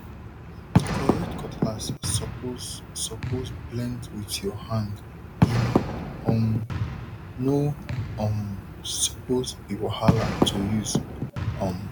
correct cutlass suppose suppose blend with your hande um no um suppose be wahala to use um